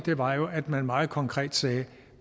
var jo at man meget konkret sagde